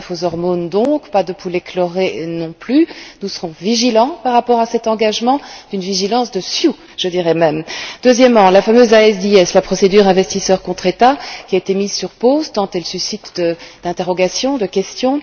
Pas de bœuf aux hormones donc, pas de poulet chloré, non plus. Nous serons vigilants par rapport à cet engagement, une vigilance sioux, je dirai même. Deuxièmement, la fameuse ISDS, la procédure investisseur contre État qui a été mise sur pause, tant elle suscite d'interrogations, de questions.